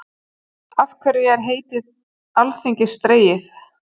Af hverju er heiti alþingis dregið?